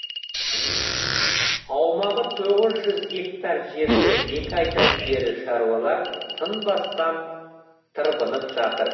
аумағы тоғыз жүз гектар жерде екі айдан бері шаруалар тынбастан тырбынып жатыр